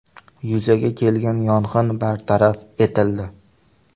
Yuzaga kelgan yong‘in bartaraf etildi.